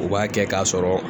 U b'a kɛ k'a sɔrɔ